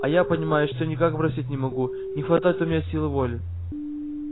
а я понимаешь всё никак бросить не могу не хватает у меня силы воли